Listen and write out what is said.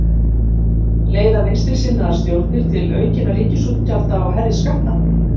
Leiða vinstrisinnaðar stjórnir til aukinna ríkisútgjalda og hærri skatta?